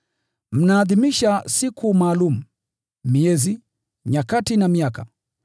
Mnaadhimisha siku maalum, miezi, nyakati na miaka!